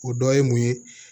O dɔ ye mun ye